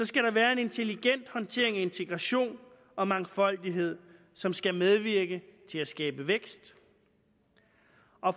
skal der være en intelligent håndtering af integration og mangfoldighed som skal medvirke til at skabe vækst